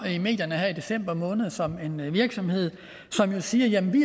i medierne her i december måned som en virksomhed som jo siger jamen vi